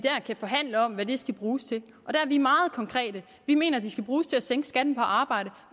forhandle om hvad de skal bruges til og der er vi meget konkrete vi mener at de skal bruges til at sænke skatten på arbejde